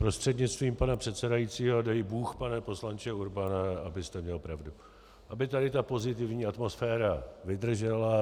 Prostřednictvím pana předsedajícího dej Bůh, pane poslanče Urbane, abyste měl pravdu, aby tady ta pozitivní atmosféra vydržela.